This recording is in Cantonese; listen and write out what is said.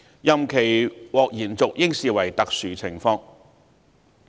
任期獲延續應視為特殊情況。